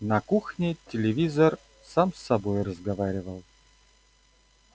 на кухне телевизор сам с собой разговаривал